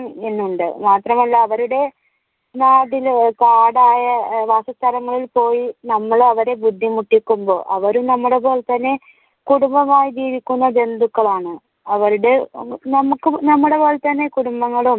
ഇതിനുണ്ട്. മാത്രമല്ല അവരുടെ നാടിന് കാടായ വാസസ്ഥലങ്ങളിൽ പോയി നമ്മൾ അവരെ ബുദ്ധിമുട്ടിക്കുമ്പോൾ അവരും നമ്മളെ പോലെ തന്നെ കുടുംബമായി ജീവിക്കുന്ന ജന്തുക്കളാണ് അവരുടെ നമ്മുക്കും നമ്മുടെ പോലെ തന്നെ കുടുംബങ്ങളും